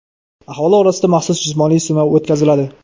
Aholi orasida maxsus jismoniy sinov o‘tkaziladi.